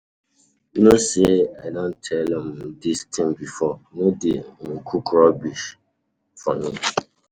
You know say I don tell um dis thing before, no dey um cook rubbish um for me.